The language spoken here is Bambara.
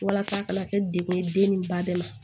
Walasa a kana kɛ degun ye den ni ba de ma